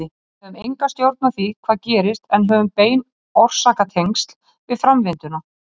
Við höfum enga stjórn á því hvað gerist en höfum bein orsakatengsl við framvinduna.